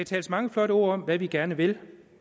siges mange flotte ord om hvad vi gerne vil